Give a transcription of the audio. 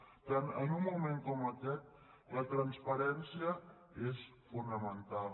per tant en un mo·ment com aquest la transparència és fonamental